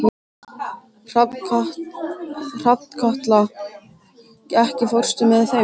Hrafnkatla, ekki fórstu með þeim?